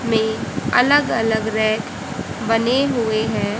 में अलग अलग रैक बने हुए हैं।